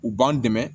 U b'an dɛmɛ